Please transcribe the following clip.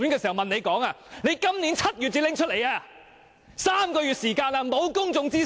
至今已經3個月，其間並無公眾諮詢！